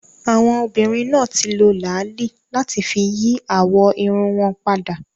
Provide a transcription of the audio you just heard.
Àwọn obìnrin náà ti lo làálí láti fi yí àwọ̀ irun wọn padà